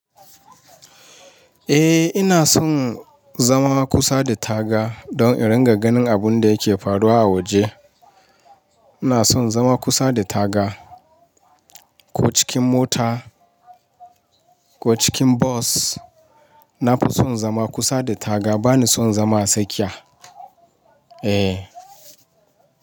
Eh ina son zama kusa da taga don in ringa ganin abun da yake faruwa a waje. Ina son zama kusa da taga ko cikin mota ko cikin bos. Na fi son zama kusa da taga bani son zama a tsakiya. Eh.